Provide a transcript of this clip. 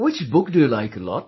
Which book do you like a lot